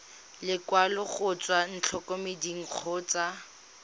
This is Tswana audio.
lekwalo go tswa ntlokemeding kgotsa